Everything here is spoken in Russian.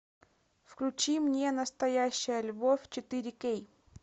включи мне настоящая любовь четыре кей